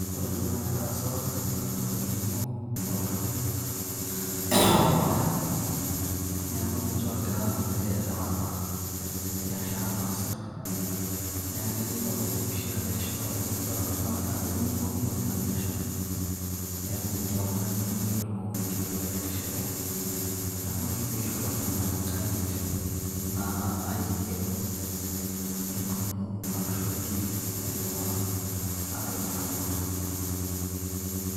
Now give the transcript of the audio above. ore entoki nagira aasa naa olning'o loltung'anak opasha neku ninche ogira aelewana biashara naasita neya ake nidol tempisha ajo etishipate kibala ake ajo etoning'okinote ina biashara neeku metii oltung'ani obo litu elo tinewueji etishipe niaku ina ooshi piishoro iltung'anak inkaik naa aiken entumo arashu en deal naidipa atonyorrakinoto.